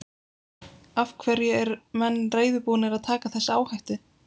Af hverju er menn reiðubúnir að taka þessa áhættu?